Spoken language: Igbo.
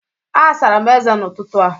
Asara m ezé n’ụtụtụ a